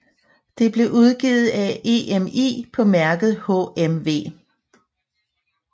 Det blev udgivet af EMI på mærket HMV